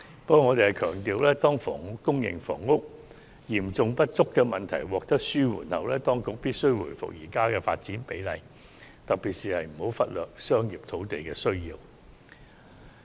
不過，我們強調當房屋供應和房屋嚴重不足的問題得到紓緩後，當局必須回復現時的發展比例，特別是不能忽略發展商業土地的需要。